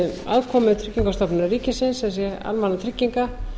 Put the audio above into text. aðkomu tryggingastofnunar ríkisins sem sé almannatrygginga